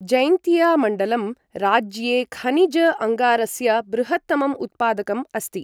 जैन्तिया मण्डलं राज्ये खनिज अङ्गारस्य बृहत्तमं उत्पादकम् अस्ति।